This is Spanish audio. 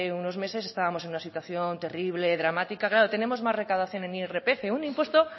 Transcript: unos meses estábamos en una situación terrible dramática claro tenemos más recaudación en irpf un impuesto